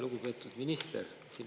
Lugupeetud minister!